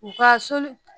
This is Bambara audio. U ka soli